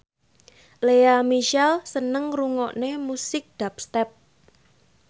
Lea Michele seneng ngrungokne musik dubstep